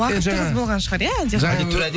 уақыт тығыз болған шығар иә әлде қалай